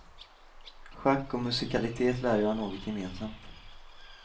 Schack och musikalitet lär ju ha något gemensamt.